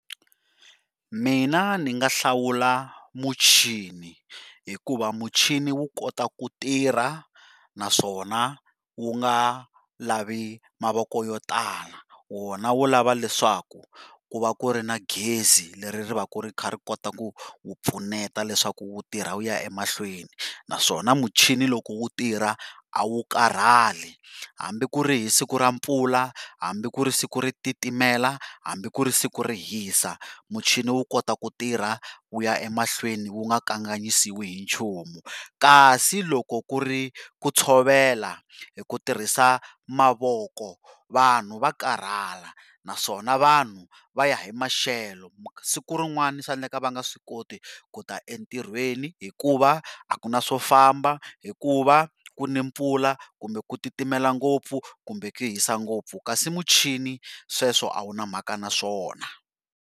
Mina ndzi nga hlawula muchini hikuva muchini wu kota ku tirha naswona wu nga lavi mavoko yo tala wona wu lava leswaku ku va ku ri na gezi leri ri va ku ri wu pfuneta leswaku u tirha u ya emahlweni. Naswona muchini loko wu tirha a wu karhali hambi ku ri hi siku ra mpfula, hambi ku ri siku ri titimela, hambi ku ri siku ri hisa muchini wu kota ku tirha u ya emahlweni u nga kanganyisiwi hi nchumu. Kasi loko ku ri ku tshovela hi ku tirhisa mavoko vanhu va karhala naswona vanhu va ya hi maxelo siku rin'wani swa endleka va nga swi koti kuta entirhweni hikuva a ku na swo famba hikuva ku ni mpfula kumbe ku titimela ngopfu kumbe ku hisa ngopfu, kasi muchini sweswo a wu na mhaka na swona.